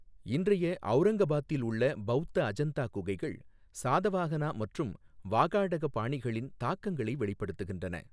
இன்றைய ஔரங்கபாத்தில் உள்ள பௌத்த அஜந்தா குகைகள் சாதவாஹனா மற்றும் வாகாடக பாணிகளின் தாக்கங்களை வெளிப்படுத்துகின்றன.